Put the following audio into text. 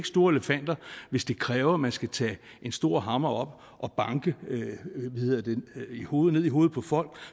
store elefanter hvis det kræver at man skal tage en stor hammer op og banke ned i hovedet i hovedet på folk